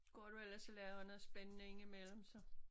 Går du ellers og laver noget spændende ind i mellem så?